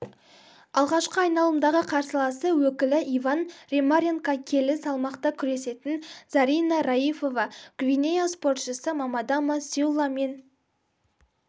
алғашқы айналымдағы қарсыласы өкілі иван ремаренко келі салмақта күресетін зарина раифова гвинея спортшысы мамадама сюлламен